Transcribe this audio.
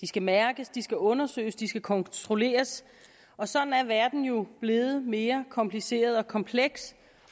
skal mærkes de skal undersøges de skal kontrolleres og sådan er verden jo blevet mere kompliceret og kompleks